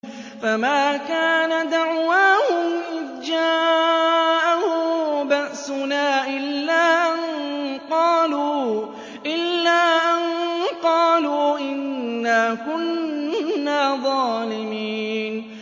فَمَا كَانَ دَعْوَاهُمْ إِذْ جَاءَهُم بَأْسُنَا إِلَّا أَن قَالُوا إِنَّا كُنَّا ظَالِمِينَ